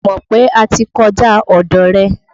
Mí ò mọ̀ pé a ti kọjá ọ̀dọ̀ rẹ̀.